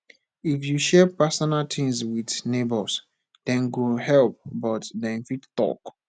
if you share personal things with neighbors dem go help but dem fit talk